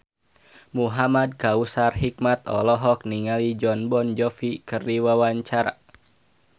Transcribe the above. Muhamad Kautsar Hikmat olohok ningali Jon Bon Jovi keur diwawancara